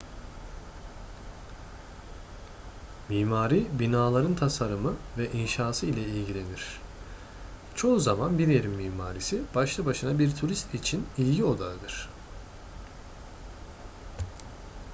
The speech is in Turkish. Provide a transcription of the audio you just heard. mimari binaların tasarımı ve inşası ile ilgilenir çoğu zaman bir yerin mimarisi başlı başına bir turist için ilgi odağıdır